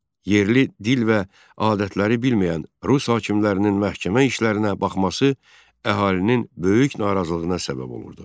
Yerli dil və adətləri bilməyən rus hakimlərinin məhkəmə işlərinə baxması əhalinin böyük narazılığına səbəb olurdu.